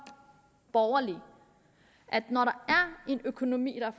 borgerlig når økonomi og